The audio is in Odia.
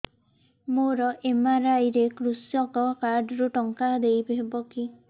ମୋର ଏମ.ଆର.ଆଇ ରେ କୃଷକ କାର୍ଡ ରୁ ଟଙ୍କା ଦେଇ ହବ କି